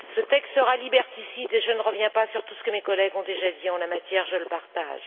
Il sera liberticide, et je ne reviens pas sur tout ce que mes collègues ont déjà dit en la matière je le partage.